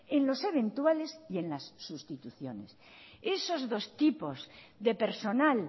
en los eventuales y en las sustituciones esos dos tipos de personal